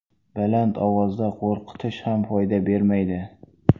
Baland ovozda qo‘rqitish ham foyda bermaydi.